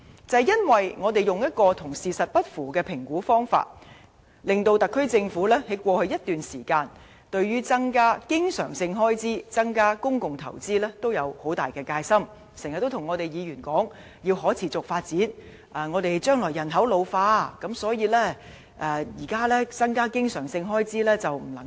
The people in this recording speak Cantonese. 由於政府採用未能反映實際情況的評估方法，它在過去一段時間，對於增加經常性開支，增加公共投資均有很大戒心，經常告訴議員說："香港要可持續發展，而香港將來人口老化，所以現在不能大幅增加經常性開支。